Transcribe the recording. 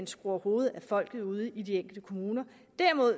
skruer hovedet af folk ude i de enkelte kommuner derimod